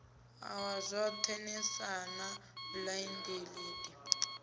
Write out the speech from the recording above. iwa zwoṱhe nlsa na blindlib